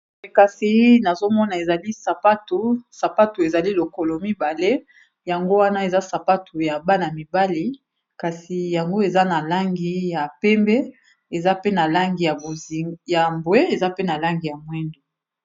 Nazomona ezali ba sapatu ezali lokolo mibale, yango wana eza sapatu ya bana mibali kasi yango eza na langi ya pembe na ya mbwe eza pe na langi ya mwindu.